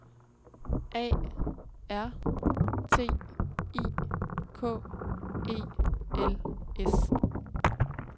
A R T I K E L S